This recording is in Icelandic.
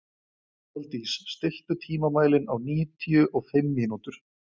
Aðaldís, stilltu tímamælinn á níutíu og fimm mínútur.